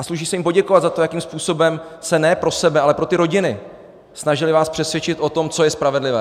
A sluší se jim poděkovat za to, jakým způsobem se ne pro sebe, ale pro ty rodiny snažili vás přesvědčit o tom, co je spravedlivé.